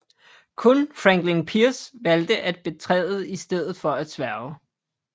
Kun Franklin Pierce valgte at bekræfte i stedet for at sværge